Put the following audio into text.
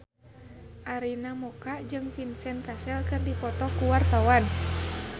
Arina Mocca jeung Vincent Cassel keur dipoto ku wartawan